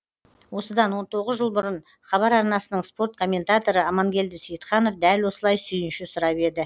осыдан он тоғыз жыл бұрын хабар арнасының спорт комментаторы амангелді сейітханов дәл осылай сүйінші сұрап еді